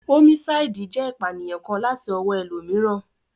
Ómísáìdì jẹ́ ìpànìyàn kan láti ọwọ́ ẹlòmíràn